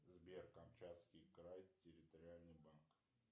сбер камчатский край территориальный банк